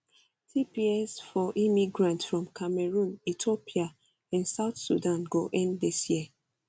tps for immigrants from cameroon ethiopia and south sudan go end dis year